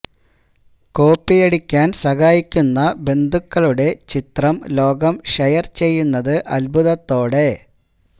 copy അടിക്കാൻ സഹായിക്കുന്ന ബന്ധുക്കളുടെ ചിത്രം ലോകം ഷെയർ ചെയ്യുന്നത് അൽഭുതത്തോടെ